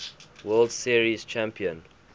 world series champion